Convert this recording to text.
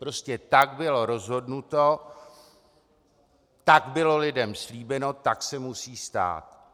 Prostě tak bylo rozhodnuto, tak bylo lidem slíbeno, tak se musí stát.